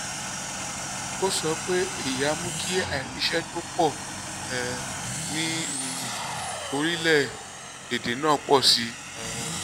ó sọ pé èyí á mú kí àìríṣẹ́ tó pọ̀ um ní um orílẹ̀-èdè náà pọ̀ sí i. um